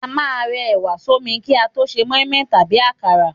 A máà ń rẹ ẹ̀wà sọ́mi ki a to se mọ́ímọ́í tàbí akara